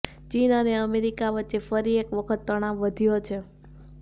ચીન અને અમેરિકા વચ્ચે ફરી એક વખત તણાવ વધ્યો છે